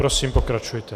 Prosím, pokračujte.